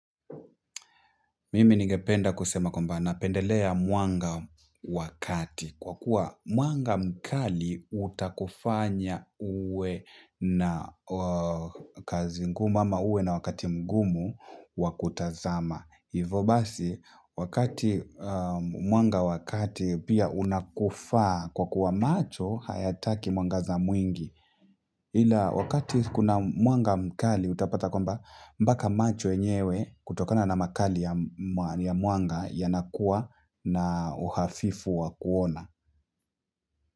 Mimi ningependa kusema kwamba napendelea mwanga wa kati, kwa kuwa mwanga mkali utakufanya uwe na. Kazi ngumu ama uwe na wakati mgumu wakutazama. Hivo basi wakati mwanga wa kati pia unakufa kwa kuwa macho hayataki mwangaza mwingi. Ila wakati kuna mwanga mkali utapata kwamba mpaka macho yenyewe kutokana na makali ya mwanga yanukuwa na uhafifu wa kuona.